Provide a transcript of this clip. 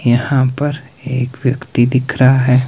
यहां पर एक व्यक्ति दिख रहा है।